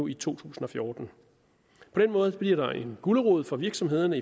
i to tusind og fjorten på den måde bliver der en gulerod for virksomhederne